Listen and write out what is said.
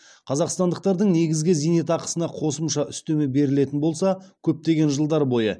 қазақстандықтардың негізгі зейнетақысына қосымша үстеме берілетін болса көптеген жылдар бойы